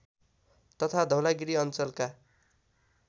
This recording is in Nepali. तथा धौलागिरी अञ्चलका